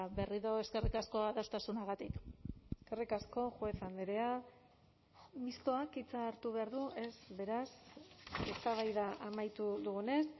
berriro eskerrik asko adostasunagatik eskerrik asko juez andrea mistoak hitza hartu behar du ez beraz eztabaida amaitu dugunez